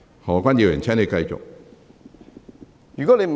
何議員，請繼續發言。